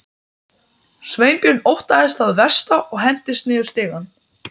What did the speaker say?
Sveinbjörn óttaðist það versta og hentist niður stigann.